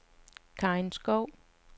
Karin Skov